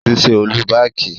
Ó ti ṣe ọ́lú baàkì.